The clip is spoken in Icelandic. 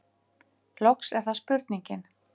Loks er það spurningin: